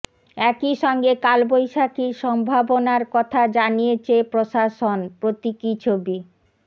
একই সঙ্গে কালবৈশাখীর সম্ভাবনার কথা জানিয়েছে প্রশাসন প্রতীকী ছবি